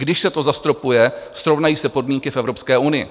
Když se to zastropuje, srovnají se podmínky v Evropské unii.